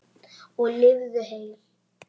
Og lifðu heil!